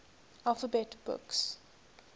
alphabet books